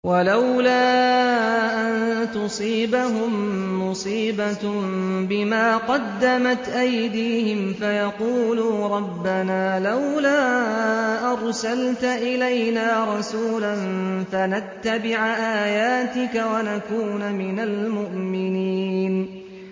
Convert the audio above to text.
وَلَوْلَا أَن تُصِيبَهُم مُّصِيبَةٌ بِمَا قَدَّمَتْ أَيْدِيهِمْ فَيَقُولُوا رَبَّنَا لَوْلَا أَرْسَلْتَ إِلَيْنَا رَسُولًا فَنَتَّبِعَ آيَاتِكَ وَنَكُونَ مِنَ الْمُؤْمِنِينَ